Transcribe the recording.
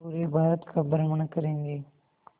पूरे भारत का भ्रमण करेंगे